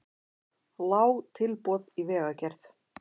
Lág tilboð í vegagerð